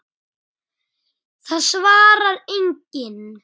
En það svarar enginn.